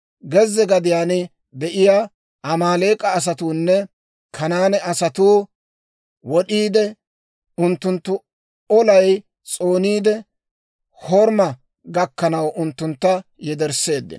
Gezze gadiyaan de'iyaa Amaaleek'a asatuunne Kanaane asatuu wod'd'iide unttunttu olay s'ooniide, Horima gakkanaw unttuntta yedersseeddino.